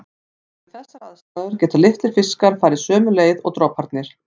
Og við þessar aðstæður geta litlir fiskar farið sömu leið og droparnir.